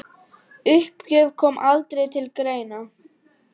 Uppgjöf kom aldrei til greina.